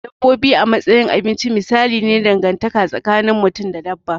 Dabbobi a matsayin abinci misali ne na dangantaka tsakin mutum da dabba.